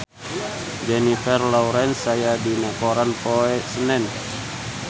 Jennifer Lawrence aya dina koran poe Senen